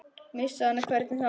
Missa hana, hvernig þá?